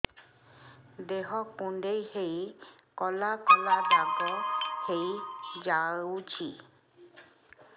ଦେହ କୁଣ୍ଡେଇ ହେଇ କଳା କଳା ଦାଗ ହେଇଯାଉଛି